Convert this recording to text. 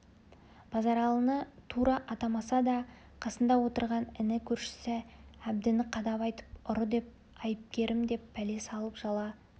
базаралыны тура атамаса да қасында отырған іні көршісі әбдіні қадап айтып ұры деп айыпкерім деп пәле салып жала